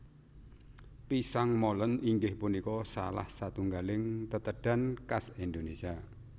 Pisang Molen inggih punika salah satunggaling tetedhan khas Indonésia